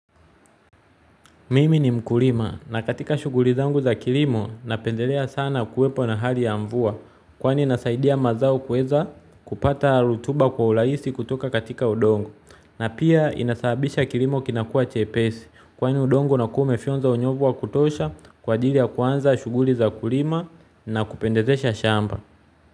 Mimi ni mkulima na katika shughuli zangu za kilimo napendelea sana kuwepo na hali ya mvua. Kwani inasaidia mazao kuweza kupata rutuba kwa urahisi kutoka katika udongo. Na pia inasaabisha kilimo kinakua chepesi. Kwani udongo unakua umefyonza unyevu wa kutosha kwaajili ya kuanza shughuli za kulima na kupendezesha shamba.